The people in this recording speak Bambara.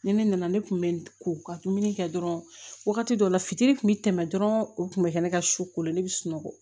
Ni ne nana ne tun bɛ ko ka dumuni kɛ dɔrɔn wagati dɔ la fitiri kun bɛ tɛmɛ dɔrɔn o kun bɛ kɛ ne ka su ko la ne bɛ sunɔgɔ